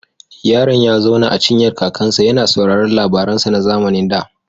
Yaron ya zauna a cinyar kakansa, yana sauraron labaransa na zamanin da.